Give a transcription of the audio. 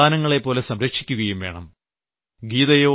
അവയെ സന്താനങ്ങളെപ്പോലെ സംരക്ഷിക്കുകയും വേണം